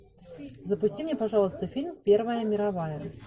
запусти мне пожалуйста фильм первая мировая